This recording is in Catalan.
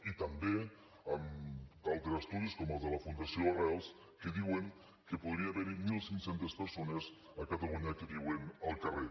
i també d’altres estudis com el de la fundació arrels que diuen que podria haver hi mil cinc cents persones a catalunya que viuen al carrer